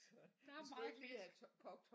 Der er meget fisk